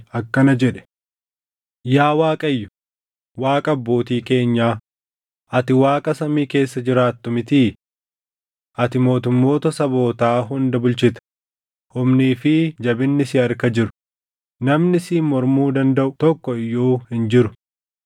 akkana jedhe: “Yaa Waaqayyo, Waaqa abbootii keenyaa, ati Waaqa samii keessa jiraattu mitii? Ati mootummoota sabootaa hunda bulchita; humnii fi jabinni si harka jiru; namni siin mormuu dandaʼu tokko iyyuu hin jiru.